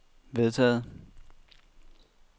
vedtaget